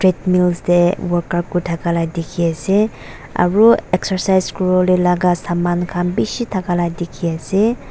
treadmills dae workout kura takala diki asae aro exercise kuribolae laga saman khan bishi takalaka diki asae.